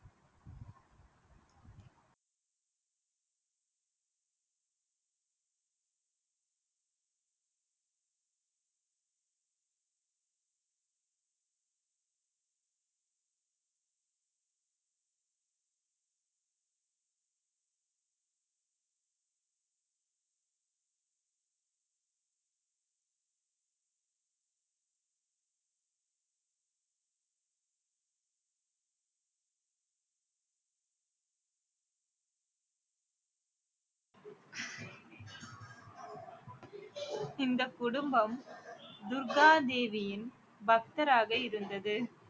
இந்த குடும்பம் துர்கா தேவியின் பக்தராக இருந்தது